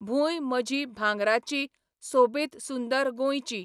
भूंय म्हजी भांगराची, सोबीत सुंदर गोंयची